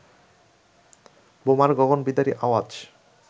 বোমার গগনবিদারী আওয়াজ